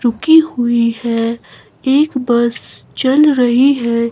रुकि हुई हैं एक बस चल रही है।